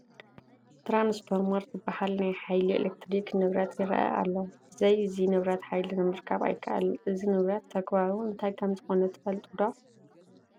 ትራንስፎርመር ዝበሃል ናይ ሓይሊ ኤለክትሪክ ንብረት ይረአ ኣሎ፡፡ ብዘይ እዚ ንብረት ሓይሊ ምርካብ ኣይከኣልን፡፡ እዚ ንብረት ተግባሩ እንታይ ከምዝኾነ ትፈልጡ ዶ?